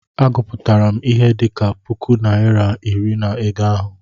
Agụpụtara m ihe dị ka puku naịra iri na ego ahụ.